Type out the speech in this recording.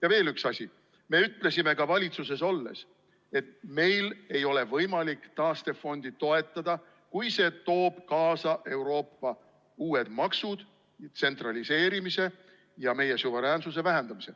Ja veel üks asi: me ütlesime ka valitsuses olles, et meil ei ole võimalik taastefondi toetada, kui see toob kaasa Euroopa uued maksud, tsentraliseerimise ja meie suveräänsuse vähendamise.